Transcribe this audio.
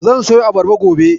Zan siyo abarba gobe.